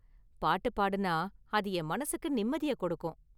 பாட்டு பாடுனா அது என் மனசுக்கு நிம்மதிய கொடுக்கும்.